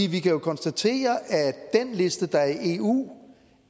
kan jo konstatere at den liste der er i eu